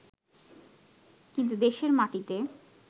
কিন্তু দেশের মাটিতে